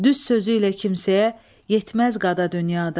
Düz sözüylə kimsəyə yetməz qada dünyada.